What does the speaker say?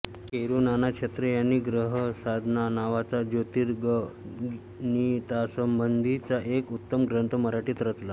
केरूनाना छत्रे यांनी ग्रहसाधना नावाचा ज्योतिर्गणितासंबंधीचा एक उत्तम ग्रंथ मराठीत रचला